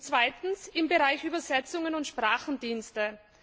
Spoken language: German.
Zweitens im Bereich Übersetzung und Sprachendienste.